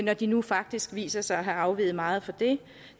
når de nu faktisk viser sig at have afveget meget fra det